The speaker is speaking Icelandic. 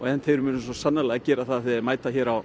en þeir munu svo sannarlega gera það þegar þeir mæta hér á